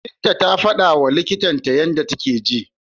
Binta ta fadawa likitan ta yanda take ji.